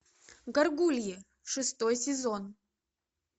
горгульи шестой сезон